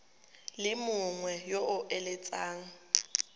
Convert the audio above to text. le mongwe yo o eletsang